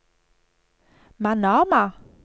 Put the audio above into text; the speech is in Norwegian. Manama